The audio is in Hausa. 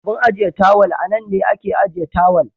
Abun ajiye tawal anan ne ake ajiye tawal.